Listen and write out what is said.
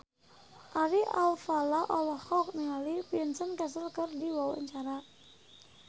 Ari Alfalah olohok ningali Vincent Cassel keur diwawancara